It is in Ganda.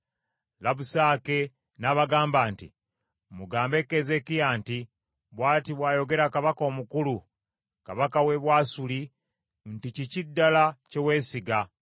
Labusake n’abagamba nti, “Mugambe Keezeekiya nti, ‘Bw’ati bw’ayogera kabaka omukulu, kabaka w’e Bwasuli nti, Kiki ddala kye weesiga?